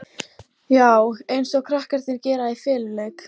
Já, eins og krakkarnir gera í feluleik.